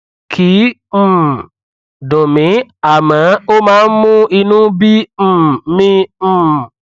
kìí um dùn mí àmọ ó máa ń mú inú bí um mi um